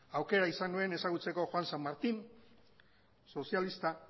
aukera izan nuen ezagutzeko juan san martín sozialista